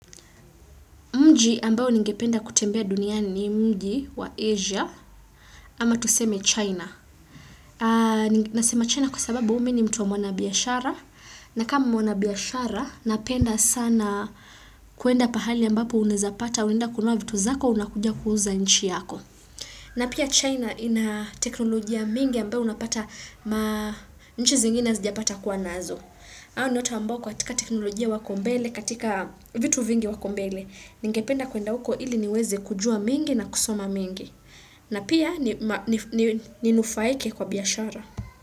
Mji ambao ningependa kutembea dunia ni mji wa Asia ama tuseme China. Nasema China kwa sababu mi ni mtu wa mwana biashara. Na kama mwana biashara, napenda sana kuenda pahali ambapo unaeza pata, unaenda kununua vitu zako, unakuja kuuza nchi yako. Na pia China ina teknolojia mingi ambao unapata ma nchi zingine hazijapata kuwa nazo. Hao ni watu ambao kwa katika teknolojia wako mbele, katika vitu vingi wako mbele. Ningependa kuenda huko ili niweze kujua mengi na kusoma mingi. Na pia ninufaike kwa biashara.